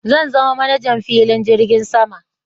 Zan zama manajan filin jirgin sama